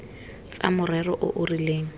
tsa morero o o rileng